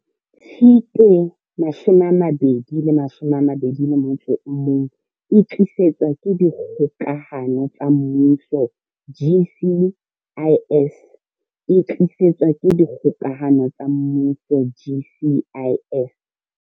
Tshitwe 2021O e tlisetswa ke Dikgokahano tsa Mmuso GCIS O e tlisetswa ke Dikgokahano tsa Mmuso GCIS.